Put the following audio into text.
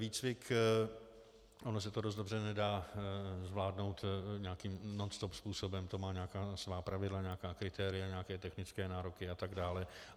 Výcvik - ono se to dost dobře nedá zvládnout nějakým nonstop způsobem, to má nějaká svá pravidla, nějaká kritéria, nějaké technické nároky a tak dále.